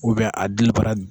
a dili baara